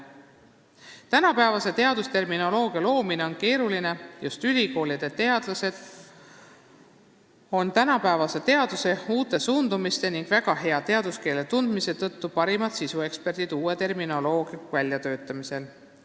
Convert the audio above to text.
Tänapäevase teadusterminoloogia loomine on keeruline, just ülikoolide teadlased on tänapäeva teaduse uute suundumuste ning teaduskeele väga hea tundmise tõttu parimad sisueksperdid uue terminoloogia väljatöötamisel.